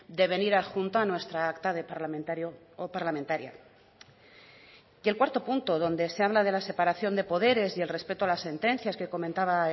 de venir adjunto a nuestra acta de parlamentario o parlamentaria y el cuarto punto donde se habla de la separación de poderes y el respeto a las sentencias que comentaba